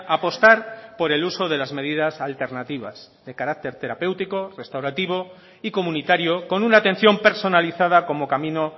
apostar por el uso de las medidas alternativas de carácter terapéutico restaurativo y comunitario con una atención personalizada como camino